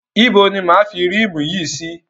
Ibo ni máa a fi rímù yìí sí?